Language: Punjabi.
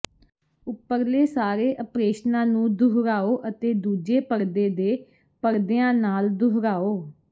ਉਪਰਲੇ ਸਾਰੇ ਅਪ੍ਰੇਸ਼ਨਾਂ ਨੂੰ ਦੁਹਰਾਓ ਅਤੇ ਦੂਜੇ ਪਰਦੇ ਦੇ ਪਰਦਿਆਂ ਨਾਲ ਦੁਹਰਾਓ